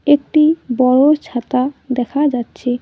একটি বড়ো ছাতা দেখা যাচ্ছে।